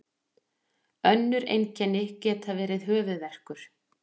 önnur einkenni geta verið höfuðverkur